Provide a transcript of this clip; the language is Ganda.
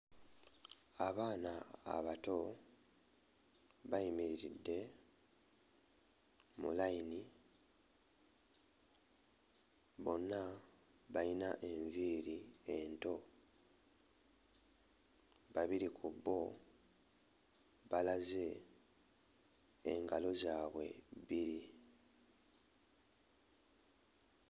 Abaana abato bayimiriridde mu layini bonna bayina enviiri ento babiri ku bo balaze engalo zaabwe bbiri.